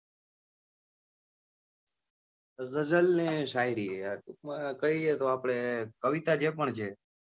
ગઝલ અને શાયરી આ ટૂંક માં કહીએ તો આપડે કવિતા જે પણ છે